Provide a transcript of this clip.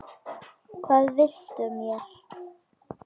Hvað viltu mér?